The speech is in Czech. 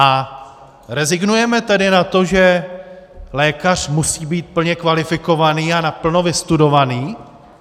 A rezignujeme tedy na to, že lékař musí být plně kvalifikovaný a naplno vystudovaný?